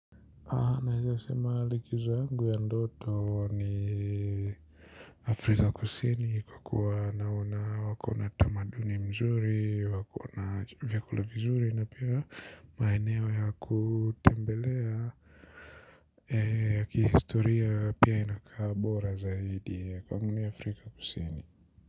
Ninaeza sema likizo yangu ya ndoto ni afrika kusini kwa kuwa naona wako na tamaduni mzuri wako na vyakula vizuri na pia maeneo ya kutembelea. Eeh kihistoria pia inakabora zaidi ya kwa nguni Afrika kusini.